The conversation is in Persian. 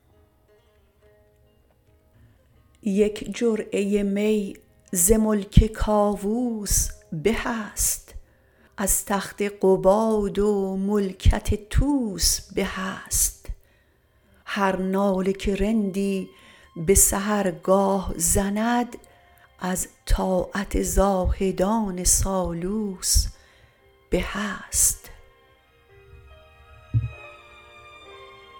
یک جرعه می ز ملک کاووس به است از تخت قباد و ملکت طوس به است هر ناله که رندی به سحرگاه زند از طاعت زاهدان سالوس به است